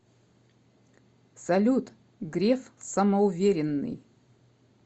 салют греф самоуверенный